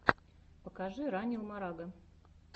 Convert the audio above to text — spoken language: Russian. покажи ранил марага